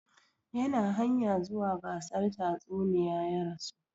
Yana hanya zuwa gasar tatsuniya ya rasu